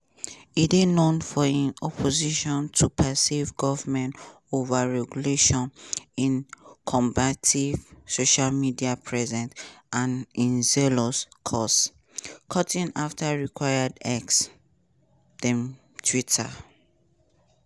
e dey known for im opposition to perceived govnment overregulation im combative social media presence and im zealous cost-cutting afta acquiring x (den twitter).